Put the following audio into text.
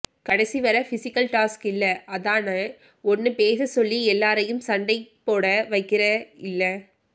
கடைசி வரை physical task இல்ல அதான ஒன்னு பேச சொல்லி எல்லாரையும் சண்டை போட வைக்குற இல்ல